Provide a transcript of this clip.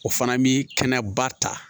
O fana bi kɛnɛba ta